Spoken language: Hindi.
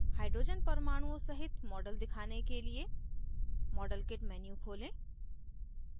hydrogen परमाणुओं सहित model दिखाने के लिए modelkit menu खोलें